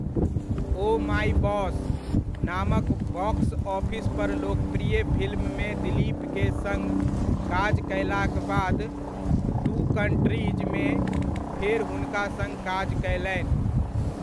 O my boss' नामक box office पर लोकप्रिय फिल्ममे दिलीप के सङ्ग काज कयलाक बाद 'टू कंट्रीज' मे फेर हुनका सङ्ग काज कयलनि।